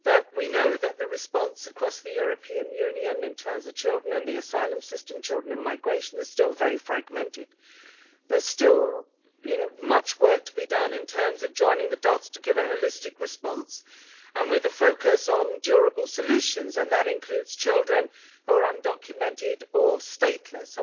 We know that the response across the European Union in terms of children in the asylum system and children in migration is still very fragmented. There is still much work to be done in terms of joining the dots to give a holistic response, and with a focus on durable solutions, and that includes children who are undocumented or stateless.